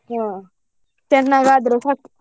ಹಾ. ಚನ್ನಾಗಾದ್ರೆ ಸಾಕು.